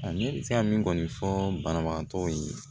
Nka ne bɛ se ka min kɔni fɔ banabagatɔw ye